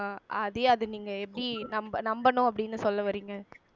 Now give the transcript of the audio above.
ஆதி அத நீங்க எப்படி நம்ப நம்பணும் அப்படின்னு சொல்ல வர்றீங்க